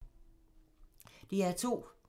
DR2